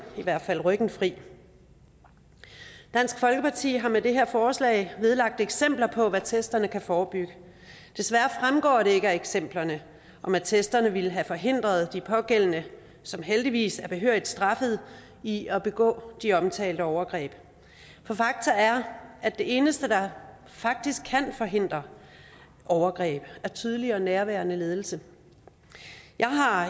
i hvert fald ryggen fri dansk folkeparti har med det her forslag vedlagt eksempler på hvad attesterne kan forebygge desværre fremgår det ikke af eksemplerne om attesterne ville have forhindret de pågældende som heldigvis er behørigt straffet i at begå de omtalte overgreb for fakta er at det eneste der kan forhindre overgreb er tydelig og nærværende ledelse jeg har